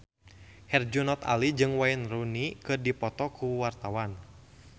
Herjunot Ali jeung Wayne Rooney keur dipoto ku wartawan